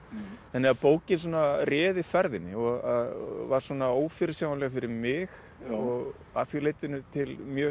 þannig að bókin svona réði ferðinni og var svona ófyrirsjáanleg fyrir mig og að því leytinu til mjög